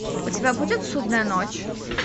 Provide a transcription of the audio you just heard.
у тебя будет судная ночь